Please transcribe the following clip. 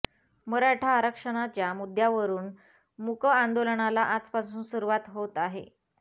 मराठा आरक्षणाच्या मुद्द्यावरुन मूक आंदोलनाला आजपासून सुरुवात होत आहे